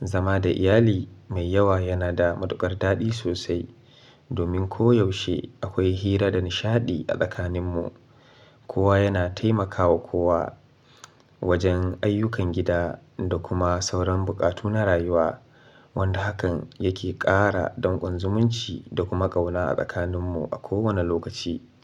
Zama da iyali mai yawa yana da matuƙar daɗi sosai domin ko yaushe akwai hira da nishaɗi a tsakaninmu. Kowa yana taimakawa kowa wajen ayyukan gida da kuma sauran buƙatu na rayuwa, wanda hakan yake ƙara danƙon zumunci da kuma ƙauna a tsakaninmu a kowane lokaci.